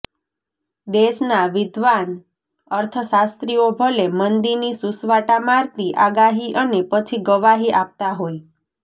દેશના વિદ્વાન અર્થશાસ્ત્રીઓ ભલે મંદીની સૂસવાટા મારતી આગાહી અને પછી ગવાહી આપતા હોય